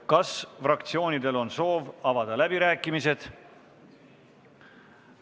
Kas fraktsioonidel on soovi pidada läbirääkimisi?